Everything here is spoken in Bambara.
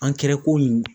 An kɛra komi